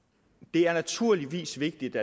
det er naturligvis vigtigt